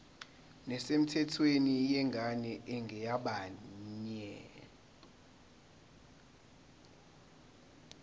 nesemthethweni yengane engeyabanye